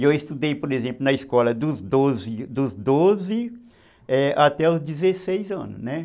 E eu estudei, por exemplo, na escola dos doze até os dezesseis anos, né?